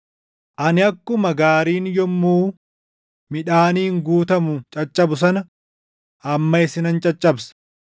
“Ani akkuma gaariin yommuu midhaaniin guutamu caccabu sana, amma isinan caccabsa.